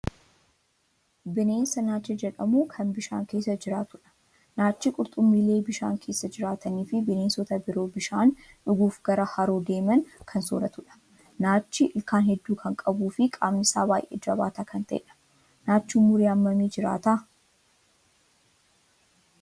Bineensa naacha jedhamu kan bishaan keessa jiraatudha. Naachi qurxummiilee bishaan keessa jiraatanii fi bineensota biroo bishaan dhuguuf gara haroo deeman kan sooratudha. Naachi ilkaan hedduu kan qabuu fi qaamni isaa baay'ee jabaataa kan ta'edha. Naachi umurii hammamii jiraata?